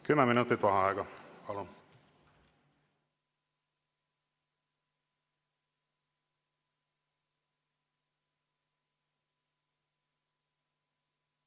Kümme minutit vaheaega, palun!